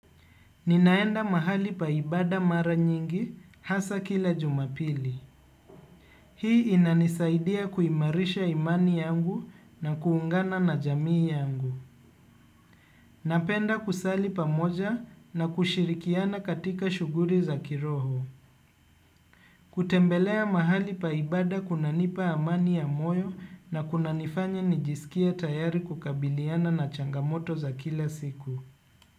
Ninaenda mahali paibada mara nyingi hasa kila jumapili. Hii inanisaidia kuimarisha imani yangu na kuungana na jamii yangu. Napenda kusali pa moja na kushirikiana katika shughuri za kiroho. Kutembelea mahali paibada kuna nipa amani ya moyo na kuna nifanya nijisikia tayari kukabiliana na changamoto za kila siku.